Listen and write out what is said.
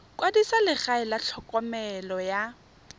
kwadisa legae la tlhokomelo ya